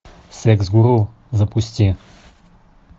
секс гуру запусти